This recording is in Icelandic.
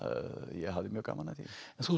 ég hafði mjög gaman af því en þú